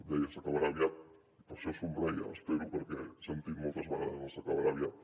deia s’acabarà aviat i per això somreia espero perquè he sentit moltes vegades el s’acabarà aviat